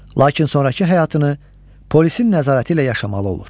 Lakin sonrakı həyatını polisin nəzarəti ilə yaşamalı olur.